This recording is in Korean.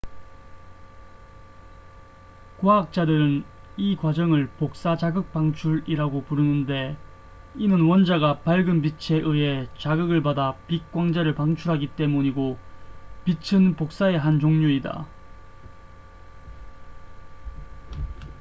"과학자들은 이 과정을 "복사 자극 방출""이라고 부르는데 이는 원자가 밝은 빛에 의해 자극을 받아 빛 광자를 방출하기 때문이고 빛은 복사의 한 종류이다.